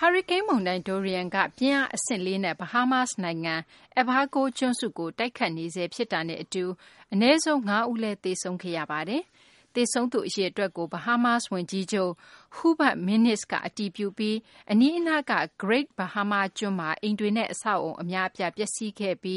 ဟာရီကိန်း မုန်တိုင်း Dorian က ပြင်းအား အဆင့် ၄ နဲ့ Bahamas နိုင်ငံရဲ့ Abaco ကျွန်းစုကို တိုက်ခတ်နေဆဲ ဖြစ်တာနဲ့ အတူ အနည်းဆုံး ၅ ဦးလည်း သေဆုံးခဲ့ရပါတယ်။ သေဆုံးသူ အရေအတွက်ကို Bahamas ဝန်ကြီးချုပ် Hubert Minnis က အတည်ပြုပြီး အနီးအနားက Great Bahama ကျွန်းမှာ အိမ်တွေနဲ့ အဆောက်အအုံ အများအပြား ပျက်စီးခဲ့တာနဲ့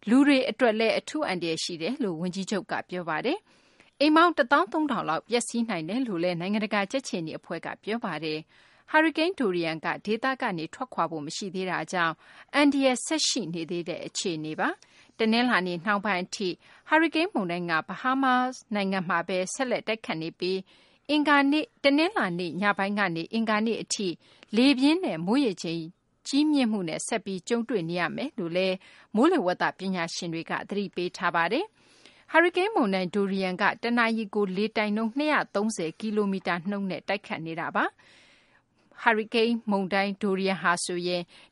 အတူ လူတွေ အတွက်လည်း အထူး အန္တရာယ် ရှိနေတယ်လို့ ဝန်ကြီးချုပ်က ပြောပါတယ်။ အိမ်ပေါင်း ၁၃၀၀၀ လောက် ပျက်စီးနိုင်တယ်လို့လည်း နိုင်ငံတကာ ကြက်ခြေနီ အဖွဲ့က ပြောဆိုထားပါတယ်။ ဟာရီကိန်း Dorian က ဒေသကနေ ထွက်ခွာဖို့ မရှိသေးတာကြောင့် အန္တရာယ် ဆက်ပြီး ရှိနေသေးတဲ့ အခြေအနေပါ။ တနလာၤနေ့ နှောင်းပိုင်း အထိ ဟာရီကိန်း မုန်တိုင်းက ဘဟားမား နိုင်ငံမှာဘဲ ဆက်လက် တိုက်ခတ်နေပြီး တနလာၤနေ့ ညပိုင်းကနေ အင်္ဂါနေ့ အထိ လေပြင်းနဲ့ မိုးရေချိန် ကြီးမြင့်မှုနဲ့ ဆက်ပြီး ကြုံတွေ့နေရမယ်လို့လည်း မိုးလေဝသ ပညာရှင်တွေက သတိပေးထားပါတယ်။ ဟာရီကိန်း မုန်တိုင်း Dorian က တနာရီကို လေတိုက်နှုန်း ၁၅၅ မိုင်နှုန်း တိုက်ခတ်နေတာပါ။ ဟာရီကိန်း Dorian က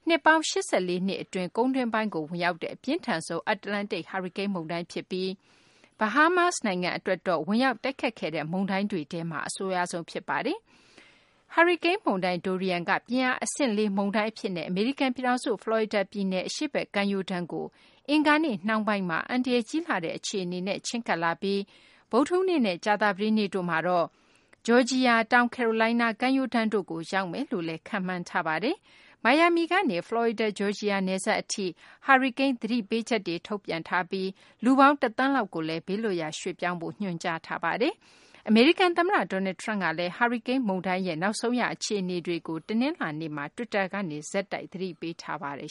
နှစ်ပေါင်း ၈၄ နှစ် အတွင်း ကုန်းတွင်းပိုင်းကို ဝင်ရောက်တဲ့ အပြင်းထန်ဆုံး အတ္တလန္တိတ် ဟာရီကိန်း မုန်တိုင်း ဖြစ်ပြီး Bahamas နိုင်ငံကို ဝင်ရောက် တိုက်ခတ်တဲ့ မုန်တိုင်းတွေထဲမှာ အဆိုးရွားဆုံး ဖြစ်ပါတယ်။ ဟာရီကိန်း မုန်တိုင်း Dorian က ပြင်းအား အဆင့် ၄ မုန်တိုင်း အဖြစ်နဲ့ အမေရိကန် ပြည်ထောင်စု ဖလော်ရီဒါ ပြည်နယ် အရှေ့ဘက် ကမ်းရိုးတ်းကို အင်္ဂါနေ့ နှောင်းပိုင်းမှာ အန္တရာယ် ကြီးလှတဲ့ အခြေအနေနဲ့ ချဉ်းကပ်လာပြီး ဗုဒ္ဓဟူးနေ့နဲ့ ကြာသပတေးနေ့တို့မှာတော့ ဂျော်ဂျီယာ၊ တောင်ကယ်ရိုလိုင်းနား ကမ်းရိုးတန်းတို့ကို ရောက်မယ်လို့ မိုးလေဝသ ပညာရှင်တို့က ခန့်မှန်းထားပါတယ်။ မိုင်ယာမီကနေ ဖလော်ရီဒါ - ဂျော်ဂျီယာ နယ်စပ် အထိ ဟာရီကိန်း သတိပေးချက်တွေ ထုတ်ပြန်ထားပါတယ်။ ဖလော်ရီဒါ ပြည်နယ်ကနေ တောင်ကယ်ရိုလိုင်းနား ပြည်နယ် အထိ လူပေါင်း ၁ သန်းလောက်ကိုလည်း ဘေးလွတ်ရာ ရွှေ့ပြောင်းဖို့ ညွန်ကြားထားပါတယ်။ အမေရိကန် သမ္မတ Donald Trump ကလည်း ဟာရီကိန်း မုန်တိုင်း Dorian ရဲ့ နောက်ဆုံး ရ အခြေအနေတွေကို တနလာၤနေ့မှာ တွစ်တာကနေ ဆက်တိုက် သတိပေးနေပါတယ်